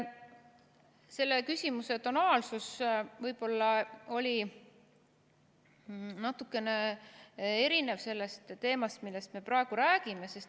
Selle küsimuse tonaalsus võib-olla oli natukene erinev sellest teemast, millest me praegu räägime.